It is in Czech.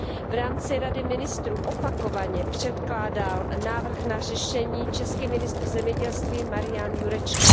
V rámci Rady ministrů opakovaně předkládal návrh na řešení český ministr zemědělství Marian Jurečka.